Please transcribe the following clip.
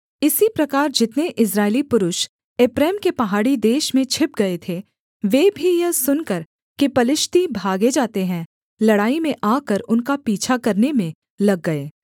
इसी प्रकार जितने इस्राएली पुरुष एप्रैम के पहाड़ी देश में छिप गए थे वे भी यह सुनकर कि पलिश्ती भागे जाते हैं लड़ाई में आकर उनका पीछा करने में लग गए